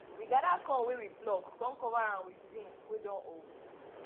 we gather corn wey we pluck con cover am with zinc wey don old